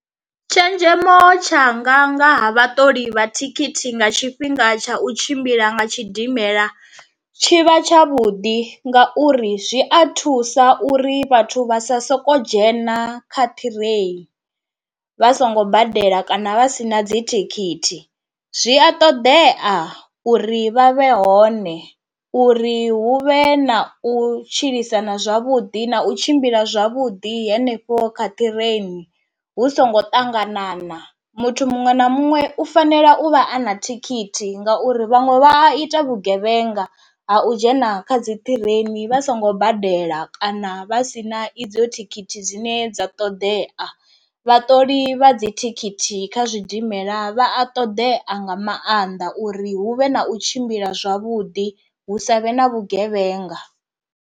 Tshenzhemo tshanga nga ha vhaṱoli vha thikhithi nga tshifhinga tsha u tshimbila nga tshidimela, tshi vha tsha vhuḓi nga uri zwi a thusa uri vhathu vha sa soko dzhena kha ṱhirei vha songo badela kana vha si na dzi thikhithi, zwi a ṱoḓea uri vha vhe hone, uri hu vhe na u tshilisana zwavhuḓi na u tshimbila zwavhuḓi hanefho kha ṱireini hu songo ṱanganana, muthu muṅwe na muṅwe u fanela u vha a na thikhithi ngauri vhaṅwe vha a ita vhugevhenga ha u dzhena kha dzi ṱireini vha songo badela kana vha si na idzo thikhithi dzine dza ṱoḓea, vhaṱoli vha dzi thikhithi kha zwidimela vha a ṱoḓea nga maanḓa uri hu vhe na u tshimbila zwavhuḓi hu savhe na vhugevhenga.